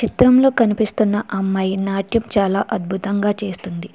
చిత్రంలో కనిపిస్తున్న అమ్మాయి నాట్యం చాలా అద్భుతంగా చేస్తుంది.